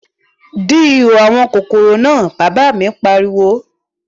Dí ihò àwọn kòkòrò náà, Bàbá mi pariwo